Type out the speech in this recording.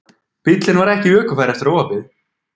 Bíllinn var ekki ökufær eftir óhappið